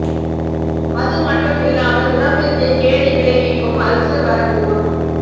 அது மட்டும் இல்லாமல் உடம்பிற்கு கேடு விளைவிக்கும் அல்சர் வர கூடும்